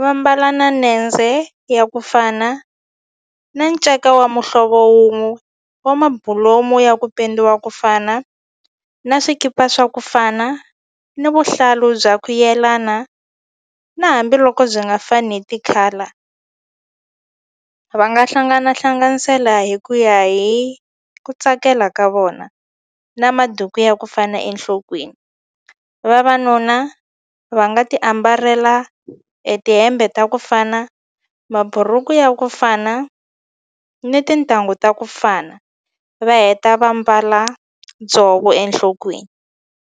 va mbala na nendze ya kufana na nceka wa muhlovo wun'we wa mabulomu ya ku pendiwa kufana na swikipa swa kufana ni vuhlalu bya ku yelana na hambiloko byi nga fani hi ti-colour va nga hlangana hlanganisela hi ku ya hi ku tsakela ka vona na maduku ya ku fana enhlokweni vavanuna va nga ti ambarela e tihembe ta kufana maburuku ya kufana ni tintangu ta kufana va heta va mbala dzovo enhlokweni.